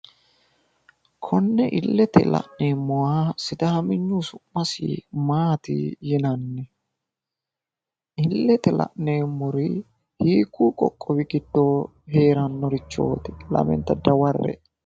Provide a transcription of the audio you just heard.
Konne illete la'neemmota sidaaminyunni su'masi Maati yinanni? Illete la'neemmori hiikkunni qoqqowi giddo heerannoreeti lamenta dawarre''e.